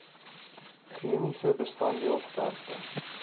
chemiese bestanddeel sterkte